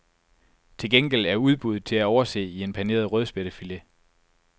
Til gengæld er udbuddet til at overse i en paneret rødspættefilet.